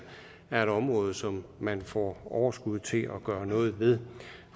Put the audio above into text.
er et område som man får overskud til at gøre noget ved